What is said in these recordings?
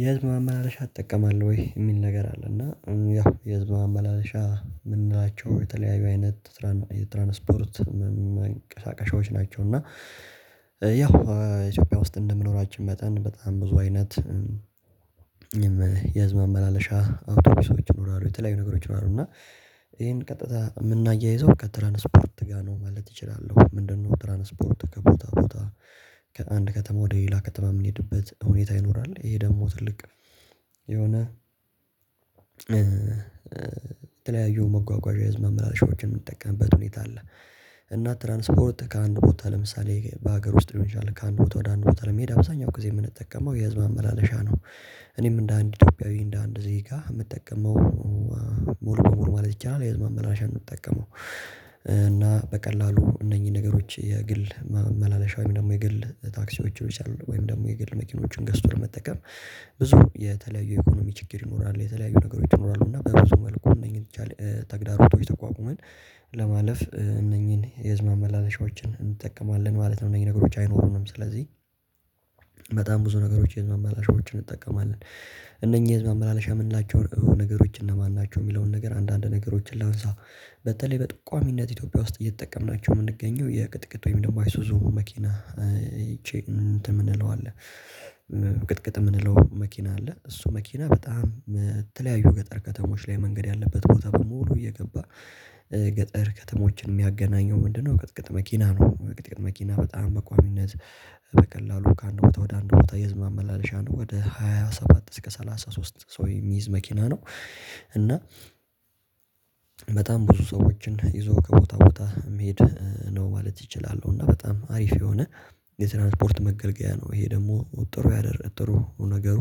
የህዝብ አማላለሻ ትጠቀማለሁ ወይ? የሚል ነገር አለ እና ያ የህዝብ አመላለሻ የምንላቸው የተለያዩ አይነት ትራን የትራንስፖርት መንቀሳቀሻዎች ናቸው። እና ያው ኢትዮጵያ ውስጥ እንደምኖራችን መጠን በጣም ብዙ አይነት የመዝማማለሻ አውቶቡሶች ይኖራሉ። የተለያዩ ነገሮች ምናምን ነው እና ይሄን ቀጥታ የምናያይዘው ከትራንስፖርት ጋር ነው ማለት እችላለሁ። ምንድነው? ትራንስፖርት ከቦታ ቦታ ከአንድ ከተማ ወደ ሌላ ከተማ የምንሄድበት ሁኔታ ይኖራል ይሄ ደግሞ ትልቅ የሆነ የተለያዩ መጓጓዣ ህዝብ ማመላለሺያዎችን የምንጠቀምበት ሁኔታ አለ። እና ትራንስፖርት ከአንድ ቦታ ለምሳሌ በሀገር ውስጥ የሚሻል ከአንድ ቦታ ወደ አንድ ቦታ ለመሄድ አብዛኛው ጊዜ የምንጠቀመው የህዝብ አመላለሻ ነው። እኔም እንደ አንድ ኢትዮጵያዊ እንደ አንድ ዜጋ የምጠቀመው ሞልኮ ሞልኮ ማለት ይቻላል የህዝብ መምህራሽ አንጠቀመው። እና በቀላሉ እነኚህ ነገሮች የግል መመላለሻ ወይም ደግሞ የግል ታክሲዎች ይቻላል ወይም ደግሞ የግል መኪኖችን ገዝቶ ለመተከፍ ብዙ የተለያዩ የኢኮኖሚ ችግር ይኖራል የተለያዩ ነገሮች ይኖራሉ እና በብዙ መልኩ እነኚህን ይቻላል ተግዳሮቶች ተቋቁመን ለማለፍ እነኚህን የህዝብ አመላለሻዎችን እንጠቀማለን ማለት ነው። እነኚህ ነገሮች አይኖሩንም ስለዚህ በጣም ብዙ ነገሮች የህዝብ አማላሻዎችን እንጠቀማለን። እነኚህ ህዝብ መመላለሻ የምንላቸውን ነገሮች እነማን ናቸው? የሚለውን ነገር አንዳንድ ነገሮችን ላንሳ በተለይ በጥቋሚነት ኢትዮጵያ ውስጥ እየተጠቀምናቸው የምንገኘው የቅጥቅጥ ወይም ደግሞ አይሱዙ መኪና አይቼ እንትን የምንለው አለ። ቅጥቅጥ የምንለው መኪና አለ እሱ መኪና በጣም የተለያዩ ገጠር ከተሞች ላይ መንገድ ያለበት ቦታ በሙሉ እየገባ ገጠር ከተሞችን የሚያገናኘው ምንድነው ቅጥቅጥ መኪና ነው። እውቀት መኪና በጣም መቋቢነት በቀላሉ ከአንድ ቦታ ወደ አንድ ቦታ የህዝብ አመላለሻ ነው ወደ ሃያ ሰባት እስከ ሰላሳ ሶስት ሰው የሚይዝ መኪና ነው። እና በጣም ብዙ ሰዎችን ይዞ ከቦታ ቦታ መሄድ ነው ማለት ይቻላል እና በጣም አሪፍ የሆነ የትራንስፖርት መገልገያ ነው። ይሄ ደግሞ ጥሩ ያደረገ ጥሩ ነገሩ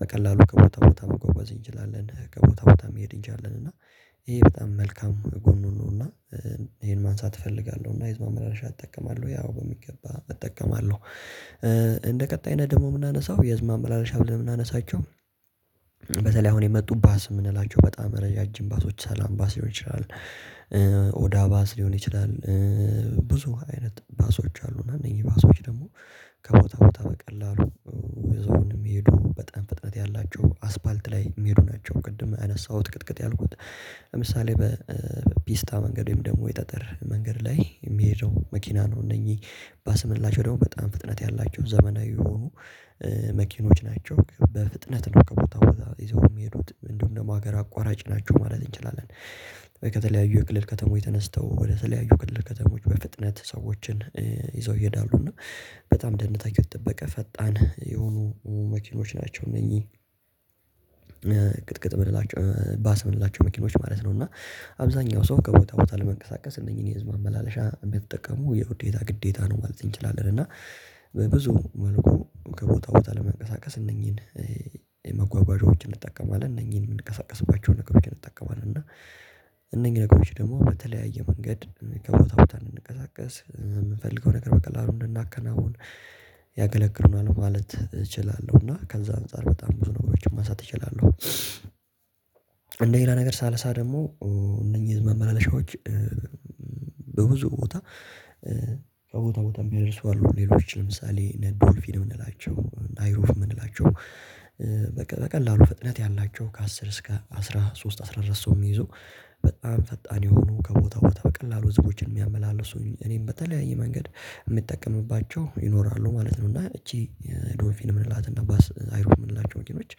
ብዙ የተለያዩ የኢኮኖሚ ችግር ይኖራል የተለያዩ ነገሮች ይኖራሉ እና በጎስ መልኩ እነኚህን ይቻላል ተግዳሮቶች ተቋቁመን ለማለፍ እነኚህን የህዝብ አመላለሻዎችን እንጠቀማለን ማለት ነው። እነኚህ ነገሮች አይኖሩንም ስለዚህ በተለይ አሁን የመጡባት ስም የምንላቸው በጣም ረዣዥም ባሶች ሳላም ባስ ሊሆን ይችላል። ኦዳ ባስ ሊሆን ይችላል። ብዙ አይነት ባሶች አሉ እና እነዚህ ባሶች ደግሞ ከቦታ ቦታ በቀላሉ የዞርን የሚሄዱ በጣም ፍጥነት ያላቸው አስፓልት ላይ የሚሉ ናቸው። ቅድም አነሳሁት ቅጥቅጥ ያልኩት ለምሳሌ በፒስታ መንገድ ወይም ደግሞ የጠጠር መንገድ ላይ የሚሄደው መኪና ነው። እነዚህ ባስመላቸው ደግሞ በጣም ፍጥነት ያላቸው ዘመናዊ የሆኑ መኪኖች ናቸው በፍጥነት ነው ከቦታው ይዘው የሚሄዱት እንደውም ደግሞ ሀገር አቋራጭ ናቸው ማለት እንችላለን። ከተለያዩ የክልል ከተማው የተነስተው ወደ ስለያዩ የክልል ከተሞች በፍጥነት ሰዎችን ይዘው ይሄዳሉ እና በጣም ደነጋገሩት ጥበቃ ፈጣን የሆኑ መኪኖች ናቸው። እነዚህ ቅጥቅጥ በላቸው መኪኖች ማለት ነው። እና አብዛኛው ሰው ከቦታ ቦታ ለመንቀሳቀስ እነዚህን የህዝብ አመላለሻ የምትጠቀሙ የውዴታ ግዴታ ነው ማለት እንችላለን። እና በብዙ መልኩ ከቦታ ቦታ ለመንቀሳቀስ እነኚህን የመጓጓዣዎችን እንጠቀማለን እነኚህን የምንቀሳቀስባቸውን ነገሮችን እንጠቀማለን እና እነኚህ ነገሮች ደግሞ በተለያየ መንገድ ከቦታ ቦታ እንንቀሳቀስ የምንፈልገው ነገር በቀላሉ እንድናከናውን ያገለግርናል ማለት እችላለሁ። እና ከዛ አንፃር በጣም ብዙ ነገሮችን ማንሳት እችላለሁ። እንደ ሌላ ነገር ሳልሳ ደግሞ እነኚህ ህዝብ ማመላለሻዎች በብዙ ቦታ ቦታ ቦታም ይደርሰዋል ሌሎች ለምሳሌ ነዶልፊ የምንላቸው አይሩፍ የምንላቸው በቃ በቀላሉ ፍጥነት ያላቸው ከአስር እስከ አስራ ሶስት አስራ አራት ሰው የሚይዘው በጣም ፈጣን የሆኑ ከቦታ ቦታ በቀላሉ ህዝቦችን የሚያመላልሱኝ እኔም በተለያየ መንገድ የምጠቀምባቸው ይኖራሉ ማለት ነው። እና እቺ ዶፊን የምንላትና ባስ አይሮ የምንላቸው መኪኖች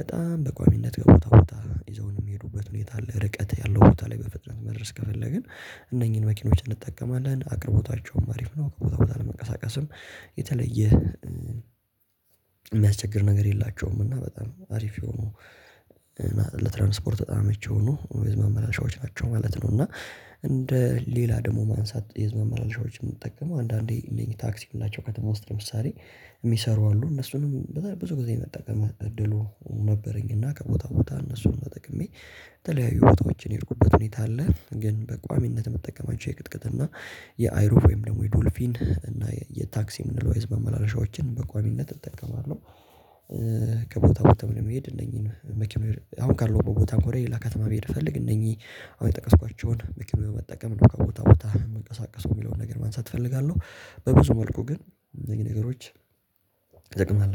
በጣም በቋሚነት ገቦታ ገቦታ ይዘውን የሚሄዱበት ሁኔታ አለ። ርቀት ያለው ቦታ ላይ በፍጥነት መድረስ ከፈለግን እነኚህን መኪኖች እንጠቀማለን አቅርቦታቸውም አሪፍ ነው። ቦታ ቦታ ለመቀሳቀስም የተለየ የሚያስቸግር ነገር የላቸውም። እና በጣም አሪፍ የሆኑ ለትራንስፖርት በጣም ምቹ የሆኑ ወይስ መመላሻዎች ናቸው ማለት ነው። እና እንደ ሌላ ደግሞ ማንሳት የህዝብ የዝመላል ሻዮችን የምትጠቀመው አንዳንዴ ሊንክ ታክሲ የላቸው ከተማ ውስጥ ለምሳሌ የሚሰሩ አሉ። እነሱንም በጣም ብዙ ጊዜ የመጠቀም እድሉ ነበረኝ እና ከቦታ ቦታ እነሱን ተጠቅሜ ተለያዩ ቦታዎችን ይርቁበት ሁኔታ አለ። ግን በቋሚነት መጠቀማቸው የቅጥቅጥ እና የአይሮፌም ደግሞ የዶልፊን እና የታክሲ ምንድነው? የመመላለሻዎችን በቋሚነት እጠቀማለሁ። ከቦታው በተመለከተ መሄድ እነኚህን መክመር አሁን ካልሆንኩት ቦታ እንኳን ሌላ ከተማ ብሄድ ፈልግ እነኚህ አሁን የጠቀስኳቸውን መኪም በመጠቀም እኮ ቦታ ቦታ የምንቀሳቀሰው የሚለውን ነገር ማንሳት እፈልጋለሁ። በብዙ መልኩ ግን ይሄ ነገሮች ይደግማል